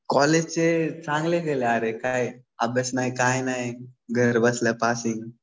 कॉलेजचे चांगले गेले अरे. काय अभ्यास नाही काही नाही. घर बसल्या पासिंग.